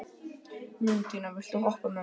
Mundína, viltu hoppa með mér?